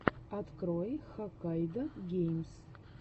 открой хаккайдогеймс